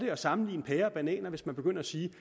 at sammenligne pærer og bananer hvis man begynder at sige